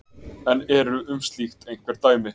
En eru um slíkt einhver dæmi?